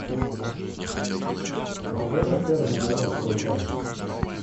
похожи термы на русскую баню